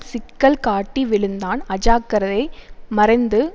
சிக்கல் காட்டி விழுந்தான் அஜாக்கிரதை மறைந்து